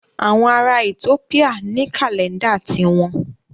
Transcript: Àwọn ará Ethiopia ní kàlẹ́ńdà ti wọn.